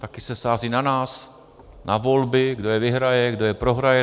Také se sází na nás, na volby, kdo je vyhraje, kdo je prohraje.